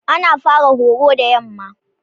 Ana fara horo da yamma.